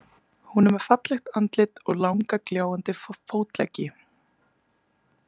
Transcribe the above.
Hún er með fallegt andlit og langa gljáandi fótleggi.